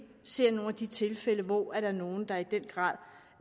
ser nogle af de tilfælde hvor der er nogle der i den grad